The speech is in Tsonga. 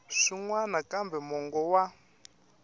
swin wana kambe mongo wa